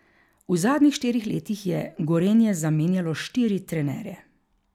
V zadnjih štirih letih je Gorenje zamenjalo štiri trenerje.